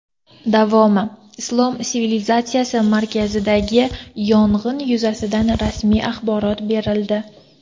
Davomi: Islom sivilizatsiyasi markazidagi yong‘in yuzasidan rasmiy axborot berildi.